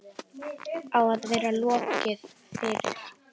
Á að vera lokið fyrir